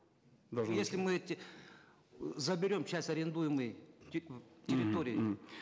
должны если мы эти заберем сейчас арендуемые территории